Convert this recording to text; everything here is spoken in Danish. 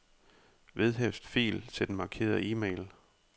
Vedhæft fil til den markerede e-mail.